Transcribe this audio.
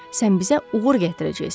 Sən bizə uğur gətirəcəksən.